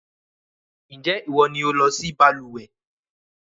Ǹjẹ́ ìwọ ni o lọ sí balùwẹ́?